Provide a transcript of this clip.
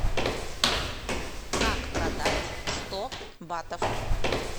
как продать сто батов